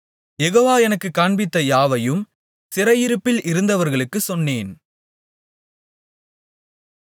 யெகோவா எனக்குக் காண்பித்த யாவையும் சிறையிருப்பில் இருந்தவர்களுக்குச் சொன்னேன்